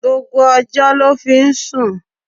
Gbogbo ọjọ́ ló fi ń sùn.